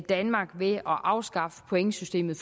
danmark ved at afskaffe pointsystemet